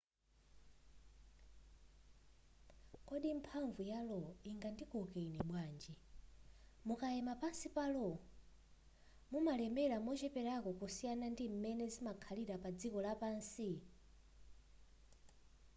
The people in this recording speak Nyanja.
kodi mphamvu ya lo ingandikoke ine bwanji mukayima pansi pa lo mumalemera mocheperako kusiyana ndi m'mene zimakhalira padziko lapansi